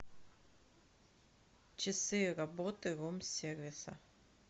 часы работы рум сервиса